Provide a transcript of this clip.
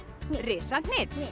risa hnit